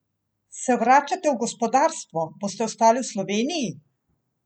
Se vračate v gospodarstvo, boste ostali v Sloveniji?